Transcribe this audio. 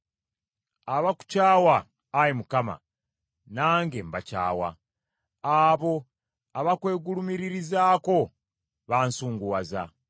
Abakukyawa, Ayi Mukama , nange mbakyawa; abo abakwegulumiririzaako bansunguwaza.